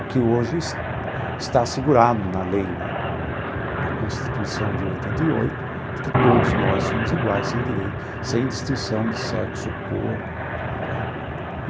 O que hoje está assegurado na lei né, na Constituição de oitenta e oito, de que todos nós somos iguais, em direito, sem distinção de sexo ou cor, não é?.